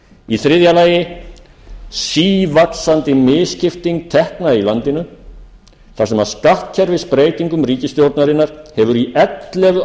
í þriðja lagi sívaxandi misskipting tekna í landinu þar sem skattkerfisbreytingum ríkisstjórnarinnar hefur í ellefu ár